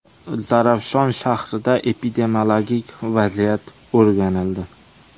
Zarafshon shahrida epidemiologik vaziyat o‘rganildi.